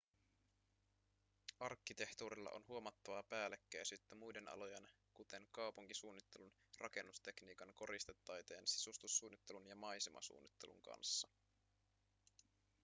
arkkitehtuurilla on huomattavaa päällekkäisyyttä muiden alojen kuten kaupunkisuunnittelun rakennustekniikan koristetaiteen sisustussuunnittelun ja maisemasuunnittelun kanssa